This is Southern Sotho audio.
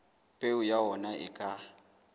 peo ya ona e ka